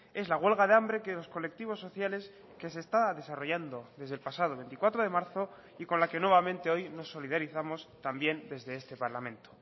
es la huelga de hambre que los colectivos sociales que se está desarrollando desde el pasado veinticuatro de marzo y con la que nuevamente hoy nos solidarizamos también desde este parlamento